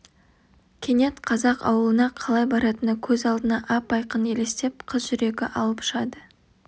кенет қазақ аулына қалай баратыны көз алдына ап-айқын елестеп қыз жүрегі алып ұшады